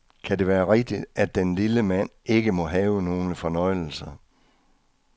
Kan det være rigtigt, at den lille mand ikke må have nogle fornøjelser.